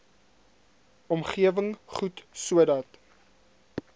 omgewing goed sodat